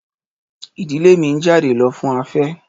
Ìdílé mi ń jáde lọ fún afé.